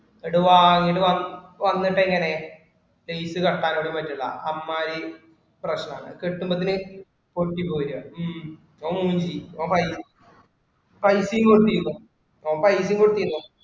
എടോ വാങ്ങിട്ടു വന്നിട്ടെങ്ങിനെ, date correct ആക്കാൻ കൂടി പറ്റൂല്ല. അമ്മായി പ്രശ്നാണ് കിട്ടുന്നതിന് കൊട്ടി കോരുക ഉം ഓൻ